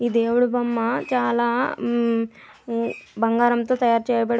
ఈ దేవుడు బొమ్మ చాలా బంగారంతో తయారు చేయ బడి --